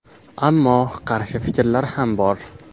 Ammo qarshi fikrlar ham bor.